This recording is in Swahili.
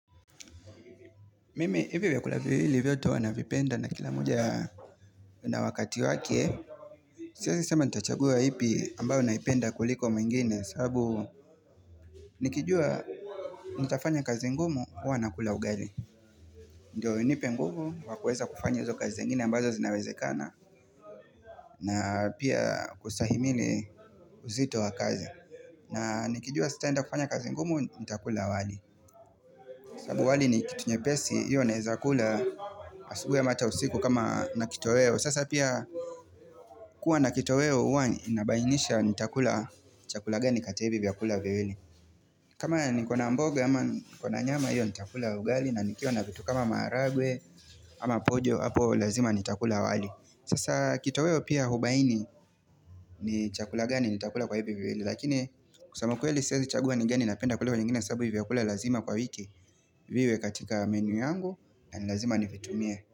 Mimi hivi vtkula hili vyoto wanavipenda na kila muja na wakati wake Siezisema nitachagua ipi ambayo naipenda kuliko mwingine sababu Nikijua Nitafanya kazi ngumu huwa kula ugali Ndiyo nipe ngumu wakueza kufanya uzo kazi ngine ambazo zinarezekana na pia kustahimile uzito wa kazi na nikijua sitenda kufanya kazi ngumu nitakula wali sabu wali nikitunye pesi hiyo nahezakula Asubwe mata usiku kama na kito weo Sasa pia kuwa na kito weo Uwa inabainisha nitakula chakula gani kata hivyakula vili kama nikona mboga Yama nikona nyama hivyakula ugali na nikio na vitu kama maragwe ama pojo hapo lazima nitakula wali Sasa kitoweo pia hubaini ni chakula gani nitakula kwa hivi viwili Lakini kusamakuwe li sezi chaguwa ni geni napenda kulewa nyingine sabu hivyakula lazima kwa wiki Viwe katika menu yangu na nilazima nifitumie.